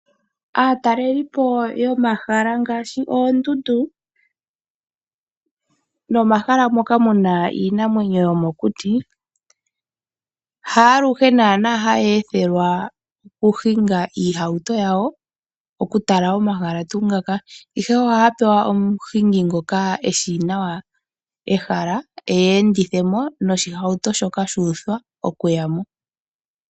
Aatalelipo yomahala ngaashi oondundu nomahala moka muna iinamwenyo yomokuti haaluhe naana haya ethelwa okuhinga iihauto yawo oku tala omahala tuu ngoka ihe ohaya pewa omuhingi ngoka eshi nawa ehala eyi endithemo noshi hauto shoka shu uthwa okuyamo.